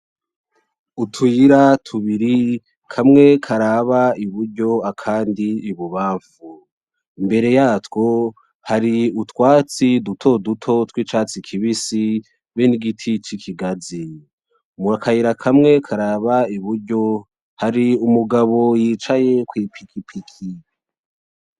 Utuyira tubiri kamwe karaba iburyo akandi ibubanfu imbere yatwo hari utwatsi dutoduto tw'icatsi kibisi be n'igiti c'ikigazi. Akayira kamwe karaba iburyo hari Umugabo yicaye kw'ipikipiki.